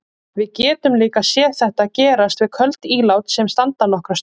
Við getum líka séð þetta gerast við köld ílát sem standa nokkra stund.